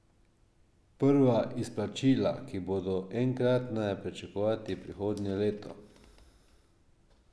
Prva izplačila, ki bodo enkratna, je pričakovati prihodnje leto.